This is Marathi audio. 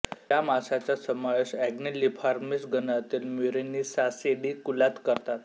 या माशाचा समावेश अँग्विलिफॉर्मिस गणातील म्युरीनिसॉसिडी कुलात करतात